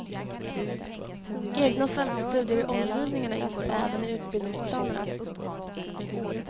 Egna fältstudier i omgivningarna ingår även i utbildningsplanerna.